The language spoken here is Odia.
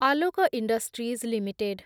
Alok industries limited